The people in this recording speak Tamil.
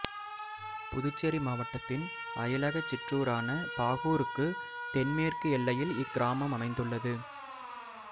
புதுச்சேரி மாவட்டத்தின் அயலகச் சிற்றூரான பாகூருக்கு தென்மேற்கு எல்லையில் இக்கிராமம் அமைந்துள்ளது